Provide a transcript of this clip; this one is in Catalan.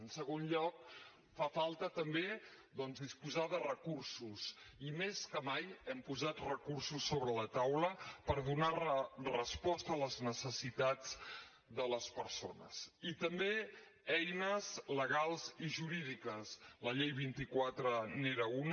en segon lloc fa falta també doncs disposar de recursos i més que mai hem posat recursos sobre la taula per donar resposta a les necessitats de les persones i també eines legals i jurídiques la llei vint quatre n’era una